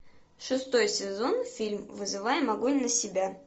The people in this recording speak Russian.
шестой сезон фильм вызываем огонь на себя